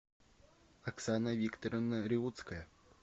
оксана викторовна реуцкая